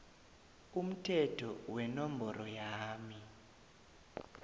umthetho wenomboro yama